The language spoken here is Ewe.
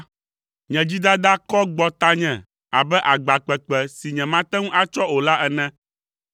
Nye dzidada kɔ gbɔ tanye abe agba kpekpe si nyemate ŋu atsɔ o la ene.